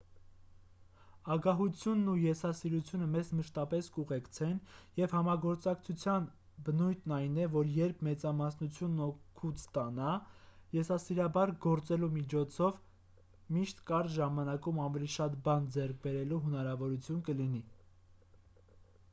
ագահությունն ու եսասիրությունը մեզ մշտապես կուղեկցեն և համագործակցության բնույթն այն է որ երբ մեծամասնությունն օգուտ ստանա եսասիրաբար գործելու միջոցով միշտ կարճ ժամանակում ավելի շատ բան ձեռք բերելու հնարավորություն կլինի